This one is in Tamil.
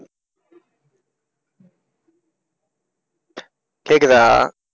கேக்குதா